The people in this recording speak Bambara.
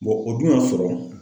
o dun y'a sɔrɔ